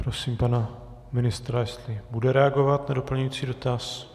Prosím pana ministra, jestli bude reagovat na doplňující dotaz.